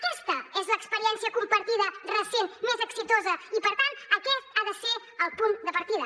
aquesta és l’experiència compartida recent més exitosa i per tant aquest ha de ser el punt de partida